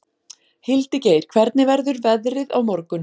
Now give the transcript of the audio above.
Hildigeir, hvernig verður veðrið á morgun?